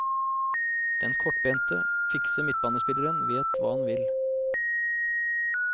Den kortbente, fikse midtbanespilleren vet hva han vil.